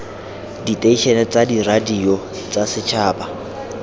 diteišene tsa diradio tsa setšhaba